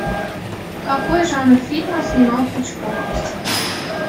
какой жанр фильма снимал хичкок